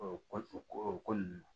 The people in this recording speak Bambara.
O kɔ o ko o ko ninnu